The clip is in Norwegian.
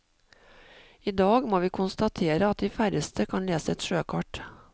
I dag må vi konstatere at de færreste kan lese et sjøkart.